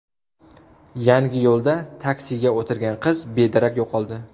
Yangiyo‘lda taksiga o‘tirgan qiz bedarak yo‘qoldi.